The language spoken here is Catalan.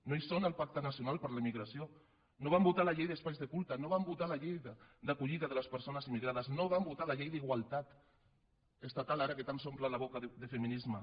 no són al pacte nacional per a la immigració no van votar la llei d’espais de culte no van votar la llei d’acollida de les persones immigrades no van votar la llei d’igualtat estatal ara que tant s’omplen la boca de feminisme